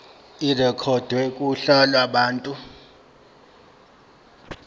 irekhodwe kuhla lwabantu